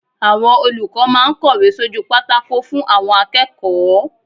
Àwọn olùkọ́ máa ń kọ̀wé sójú pátákó fún àwọn akẹ́kọ̀ọ́.